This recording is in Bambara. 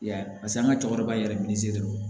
I y'a ye paseke an ka cɛkɔrɔba yɛrɛ min ye dɔrɔn